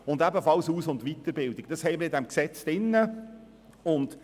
Dies betrifft ebenfalls die Aus- und Weiterbildungen, die in diesem Gesetz geregelt werden.